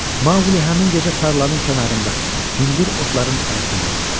Maquli həmin gecə tarlanın kənarında, hündür otların arasında yatdı.